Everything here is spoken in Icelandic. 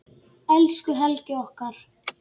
Elsku Helgi okkar.